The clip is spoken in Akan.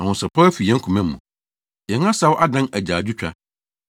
Ahosɛpɛw afi yɛn koma mu; yɛn asaw adan agyaadwotwa.